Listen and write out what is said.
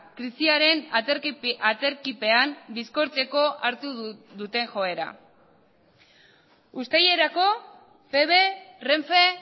krisiaren aterkipean bizkortzeko hartu duten joera uztailerako feve renfe